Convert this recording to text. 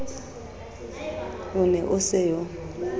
o ne o se yo